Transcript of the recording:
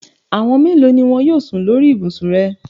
Àwọn mélòo ni wọn yóò sùn lórí ibùsùn rẹ?